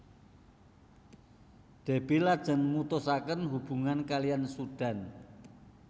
Déby lajeng mutusaken hubungan kaliyan Sudan